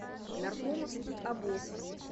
наркомовский обоз